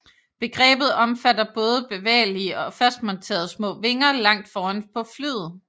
Begrebet omfatter både bevægelige og fastmonterede små vinger langt foran på flyet